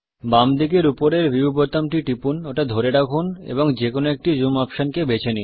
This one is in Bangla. বাম দিকে উপরের ভিউ বোতামটি টিপুন ওটা ধরে রাখুন এবং যেকোনো একটি জুম অপশনকে বেছে নিন